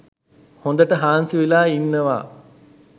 හොඳට හාන්සිවෙලා ඉන්නවා.